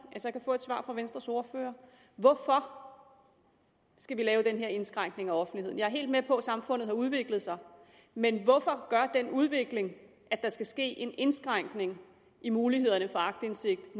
jeg så kan få et svar fra venstres ordfører hvorfor skal vi lave den her indskrænkning af offentligheden jeg er helt med på at samfundet har udviklet sig men hvorfor gør den udvikling at der skal ske en indskrænkning i mulighederne for aktindsigt